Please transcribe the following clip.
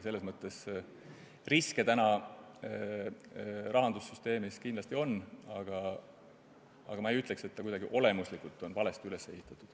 Selles mõttes riske täna rahandussüsteemis kindlasti on, aga ma ei ütleks, et see oleks kuidagi olemuslikult valesti üles ehitatud.